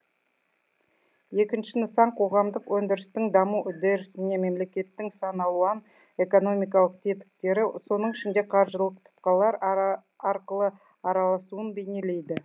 екінші нысан қоғамдық өндірістің даму үдерісіне мемлекеттің сан алуан экономикалық тетіктері соның ішінде қаржылық тұтқалар арқылы араласуын бейнелейді